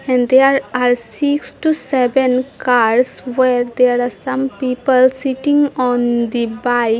And there are six to seven cars where there are some people sitting on the bike.